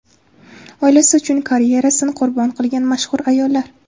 Oilasi uchun karyerasini qurbon qilgan mashhur ayollar .